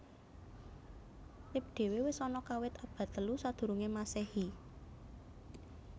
Lip dhewe wis ana kawit abad telu sadurunge mmasehi